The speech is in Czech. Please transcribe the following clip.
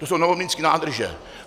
To jsou Novomlýnské nádrže.